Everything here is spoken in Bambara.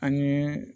Ani